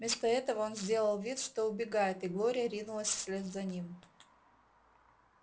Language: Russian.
вместо этого он сделал вид что убегает и глория ринулась вслед за ним